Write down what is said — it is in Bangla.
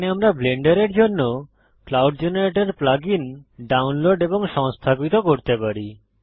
এখানে আমরা ব্লেন্ডারের জন্য cloud generator plug in download এবং সংস্থাপিত করতে পারি